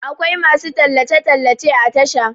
akwai masu tallace - tallace a Tasha